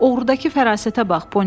Oğrudakı fərasətə bax!